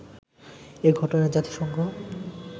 এ ঘটনায় জাতিসংঘ